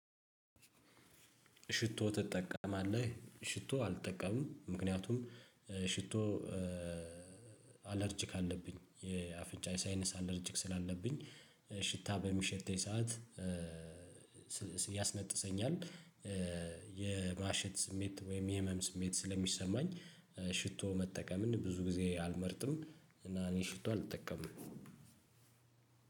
ሽቶ ትጠቀማለህ ሽቶ አልጠቀምም ምክንያቱም ሽቶ አለርጅክ አለብኝ የአፍንጫ የሳይነስ አለርጅክ ስላለብኝ ሽታ በሚሸተኝ ሰዓት ያስነጥሰኛል የማሸት ስሜት ወይም የህመም ስሜት ስለሚሰማኝ ሽቶ መጠቀምን ብዙ ጊዜ አልመርጥም እና እኔ ሽቶ አልጠቀምም።